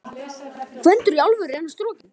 GVENDUR: Í alvöru: Er hann strokinn?